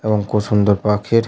এবং খুব সুন্দর পাখির --